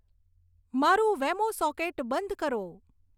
મારું વેમો સોકેટ બંધ કરો